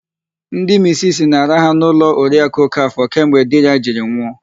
Ndị misisi na-araha n'ụlọ Oriakụ Okafọ kemgbe di ya jiri nwụ.